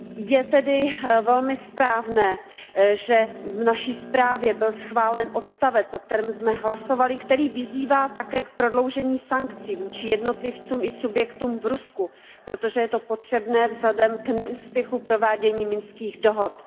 Je tedy velmi správné, že v naší zprávě byl schválen odstavec, o kterém jsme hlasovali, který vyzývá také k prodloužení sankcí vůči jednotlivcům i vůči subjektům v Rusku, protože je to potřebné vzhledem k neúspěchu provádění Minských dohod.